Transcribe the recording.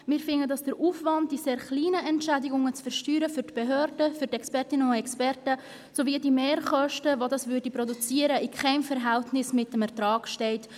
Wir finden, dass der Aufwand, diese sehr kleinen Entschädigungen zu versteuern, für die Behörden und die Expertinnen und Experten in keinem Verhältnis zum Ertrag steht.